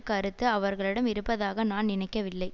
கருத்து அவர்களிடம் இருப்பதாக நான் நினைக்கவில்லை